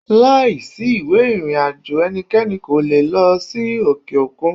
Láìsí ìwé ìrìnàjò ẹnikẹ́ni kò le è lọ sí òkè òkun.